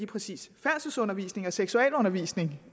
præcis færdselsundervisning og seksualundervisning